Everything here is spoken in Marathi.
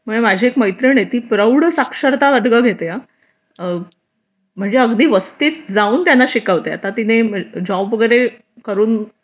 माझी एक मैत्रीण आहे ती प्रौढ साक्षरता वर्ग घेते हा म्हणजे अगदी वस्तीत जाऊन त्यांना शिकवते आता तिने जॉब वगैरे करून